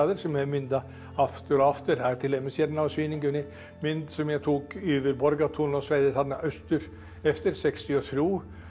sem ég mynda aftur og aftur það er til dæmis hérna á sýningunni mynd sem ég tók yfir Borgartún og svæðið austur eftir sextíu og þrjú